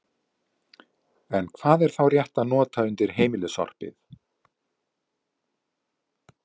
En hvað er þá rétt að nota undir heimilissorpið?